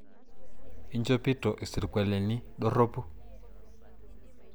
Inchopito isirkualini dorropu?